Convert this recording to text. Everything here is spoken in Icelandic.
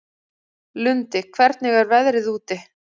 Lundi, hvernig er veðrið úti?